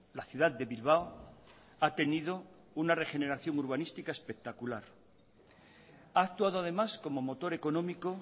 la ciudad de bilbao ha tenido una regeneración urbanística espectacular ha actuado además como motor económico